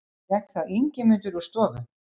Gekk þá Ingimundur úr stofu.